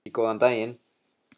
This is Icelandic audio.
Ekki góðan daginn.